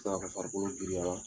Sa ka farikolo giriyara